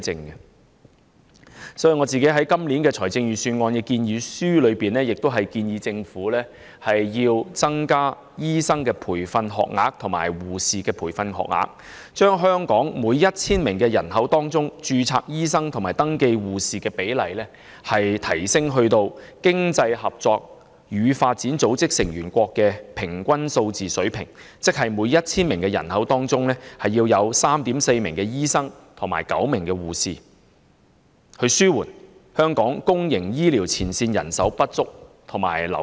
因此，我就今年的財政預算案向政府提出建議，增加醫生及護士培訓學額，把香港每 1,000 名人口的註冊醫生和登記護士的比例，提升至經濟合作與發展組織成員國的平均數字水平，即每 1,000 名人口有 3.4 名醫生及9名護士，以紓緩香港公營醫療機構前線人手不足和流失。